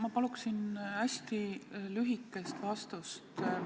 Ma palun hästi lühikest vastust.